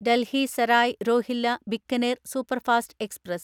Delhi Sarai Rohilla Bikaner superfast express